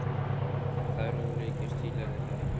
Það eru ólíkir stílar er það ekki?